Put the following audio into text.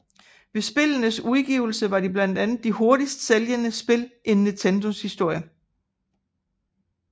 Ved spillenes udgivelse var de blandt de hurtigst sælgende spil in Nintendos historie